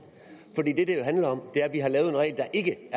handler om er at vi har lavet en regel der ikke